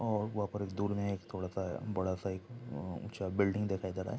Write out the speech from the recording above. और वहाँ एक दूर में थोड़ा सा बड़ा सा एक ऊंचा बिल्डिंग दिखाई दे रहा है।